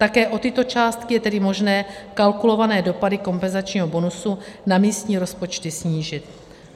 Také o tyto částky je tedy možné kalkulované dopady kompenzačního bonusu na místní rozpočty snížit.